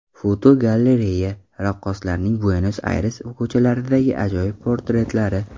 Fotogalereya: Raqqoslarning Buenos-Ayres ko‘chalaridagi ajoyib portretlari.